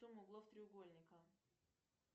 сумма углов треугольника